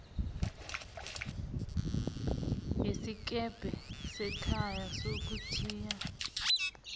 yesikebhe sekhaya sokuthiya